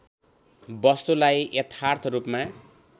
वस्तुलाई यथार्थ रूपमा